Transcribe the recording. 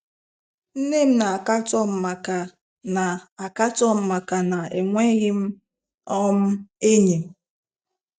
Nnem na akatom maka na akatom maka na enweghịm um enyi.